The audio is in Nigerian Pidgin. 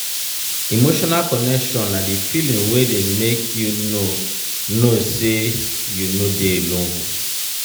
emotional connection na di feeling wey dey make you know know sey you no dey alone.